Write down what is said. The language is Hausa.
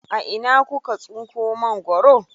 A ina kuka tsinko mangwaro?